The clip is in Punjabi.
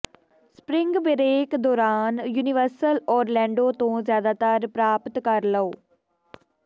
ਸਪਰਿੰਗ ਬਰੇਕ ਦੌਰਾਨ ਯੂਨੀਵਰਸਲ ਓਰਲੈਂਡੋ ਤੋਂ ਜ਼ਿਆਦਾਤਰ ਪ੍ਰਾਪਤ ਕਰੋ